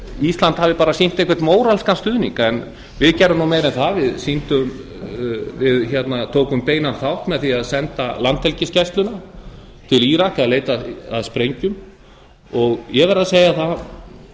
ísland hafi bara sýnt einhvern móralskan stuðning en við gerðum nú meira en það við tókum beinan þátt með því að senda landhelgisgæsluna til írak að leita að sprengjum ég verð að segja það